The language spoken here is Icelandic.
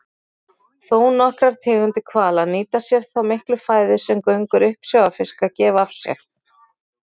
Þónokkrar tegundir hvala nýta sér þá miklu fæðu sem göngur uppsjávarfiska gefa af sér.